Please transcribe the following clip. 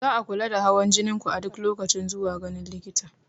Za a kula da hawan jinin ku a duk lokacin zuwa ganin likita.